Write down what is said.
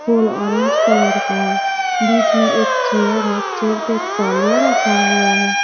फूल orange colour का है बीच में एक चेयर है चेयर पे एक तौलिया रखा हुआ है।